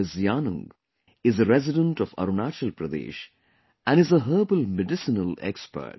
Yanung is a resident of Arunachal Pradesh and is a herbal medicinal expert